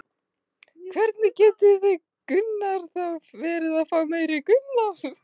Hvernig getið þið þá verið að fá meiri tekjur?